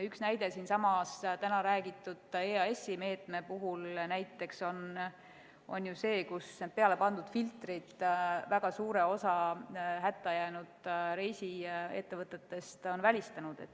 Üks näide siinsamas täna räägitud EAS-i meetme puhul on ju see, kuidas peale pandud filtrid on väga suure osa hätta jäänud reisiettevõtetest välistanud.